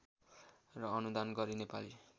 र अनुदान गरी नेपाली